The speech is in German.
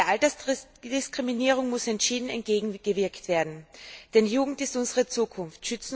Der Altersdiskriminierung muss entschieden entgegengewirkt werden, denn Jugend ist unsere Zukunft.